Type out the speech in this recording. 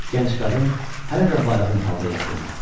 Gənc qadın hələ də bayğın halda yatırdı.